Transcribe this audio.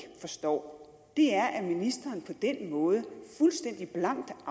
forstår er at ministeren på den måde fuldstændig blankt